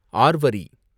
ஆர்வரி